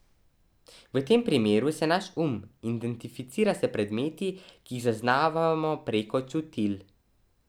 V tem primeru se naš um identificira s predmeti, ki jih zaznavamo preko čutil.